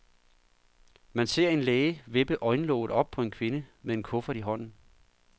Man ser en læge vippe øjenlåget op på en kvinde med en kuffert i hånden.